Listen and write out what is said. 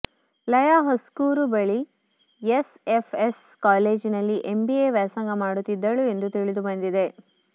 ಲಯ ಹುಸ್ಕೂರು ಬಳಿಯ ಎಸ್ಎಫ್ಎಸ್ ಕಾಲೇಜಿನಲ್ಲಿ ಎಂಬಿಎ ವ್ಯಾಸಂಗ ಮಾಡುತ್ತಿದ್ದಳು ಎಂದು ತಿಳಿದು ಬಂದಿದೆ